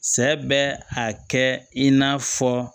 Sɛ bɛ a kɛ i n'a fɔ